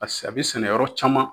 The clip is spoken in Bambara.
Pase a bɛ sɛnɛ yɔrɔ caman